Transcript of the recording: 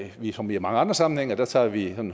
ligesom i mange andre sammenhænge at der tager vi